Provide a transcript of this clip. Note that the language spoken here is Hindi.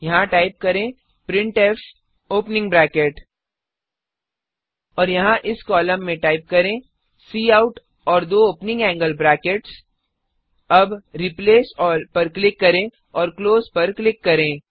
यहाँ टाइप करें प्रिंटफ ओपनिंग ब्रैकेट और यहा इस कॉलम में टाइप करें काउट और दो ओपनिंग एंगल ब्रैकेट्स एलटीएलटीअब रिप्लेस अल्ल पर क्लिक करें और क्लोज पर क्लिक करें